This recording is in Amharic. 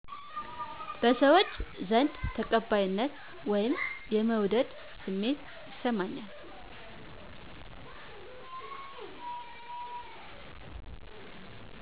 በሰዎች ዘንድ ተቀባይነት/የመወደድ ስሜት ይሰማኛል